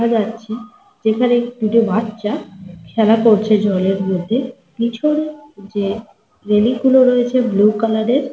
দেখা যাচ্ছে যেখানে দুটো বাচ্ছা খেলা করছে। জলের মধ্যে পিছনে যে রেলিং গুলো রয়েছে ব্লু কালার -এর।